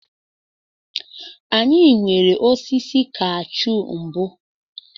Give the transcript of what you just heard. Anyị nwere osisi kashu mbụ.